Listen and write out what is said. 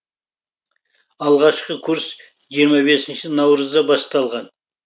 алғашқы курс жиырма бесінші наурызда басталған